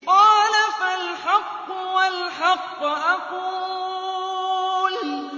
قَالَ فَالْحَقُّ وَالْحَقَّ أَقُولُ